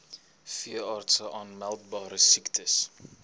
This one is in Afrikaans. veeartse aanmeldbare siektes